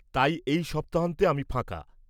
-তাই এই সপ্তাহান্তে আমি ফাঁকা।